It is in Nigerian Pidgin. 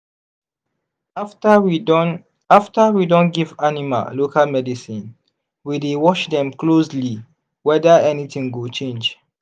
after we don after we don give animal local medicine we dey watch dem closely whether anything go change.